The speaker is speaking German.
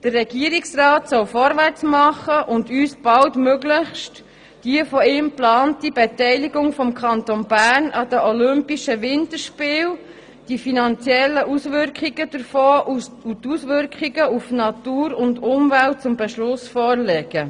Der Regierungsrat soll vorwärts machen und uns baldmöglichst die von ihm geplante Beteiligung des Kantons Bern an den olympischen Winterspielen, deren finanzielle Konsequenzen und Angaben über die Auswirkungen auf Natur und Umwelt zum Beschluss vorlegen.